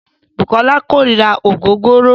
Bùkọ́lá kórira ògógóró.